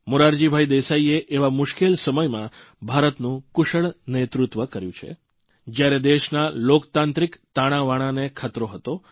મોરારજી દેસાઇએ એવા મુશ્કેલ સમયમાં ભારતનું કુશળ નેતૃત્વ કર્યું જયારે દેશના લોકતાંત્રિક તાણાવાણાને ખતરો હતો